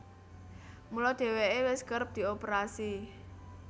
Mula dhèwèké wis kerep dioperasi